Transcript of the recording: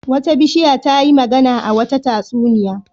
Wata bishiya ta yi magana a wata tatsuniya.